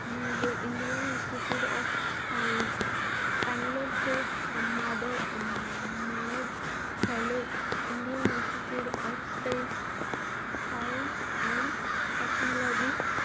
म्हणजे Indian institute of science बंगलोरचे माद अं मानद fellow, Indian institute of space science and technology,